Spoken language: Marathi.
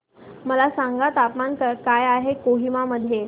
मला सांगा तापमान काय आहे कोहिमा मध्ये